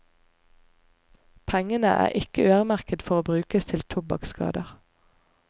Pengene er ikke øremerket for å brukes til tobakksskader.